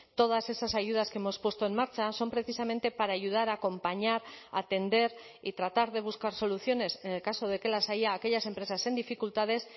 todas esas ayudas que hemos puesto en marcha son precisamente para ayudar a acompañar a atender y tratar de buscar soluciones en el caso de que las haya a aquellas empresas en dificultades